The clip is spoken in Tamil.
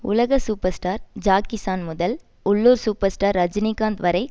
உலக சூப்பர் ஸ்டார் ஜாக்கி சான் முதல் உள்ளூர் சூப்பர் ஸ்டார் ரஜினிகாந்த் வரை